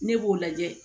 Ne b'o lajɛ